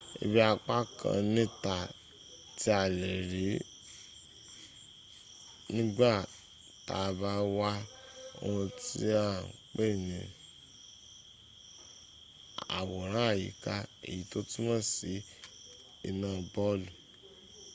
ibi apá kan níta tí a lè̀rí nígbà tàà bá wo oòrùn ní à ń pè̀ ní àwòrán-àyíká èyí tó túnmò sí iná bọlù